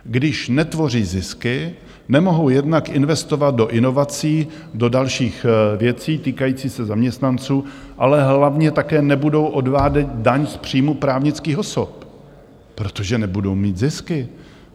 Když netvoří zisky, nemohou jednak investovat do inovací, do dalších věcí týkajících se zaměstnanců, ale hlavně také nebudou odvádět daň z příjmů právnických osob, protože nebudou mít zisky.